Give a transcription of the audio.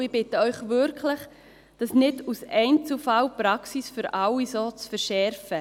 Ich bitte Sie wirklich, die Praxis aufgrund von Einzelfällen nicht für alle so zu verschärfen.